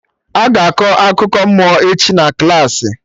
Aga akọ akụkọ mmụọ echi na klaasị